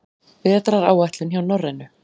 Vetraráætlun hjá Norrænu